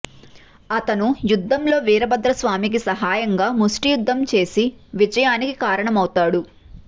అతను యుద్ధంలో వీరభద్ర స్వామికి సహాయంగా ముష్టి యుద్ధం చేసి విజయానికి కారణమవుతాడు